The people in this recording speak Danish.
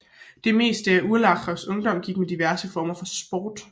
Det meste af Urlachers ungdom gik med diverse former for sport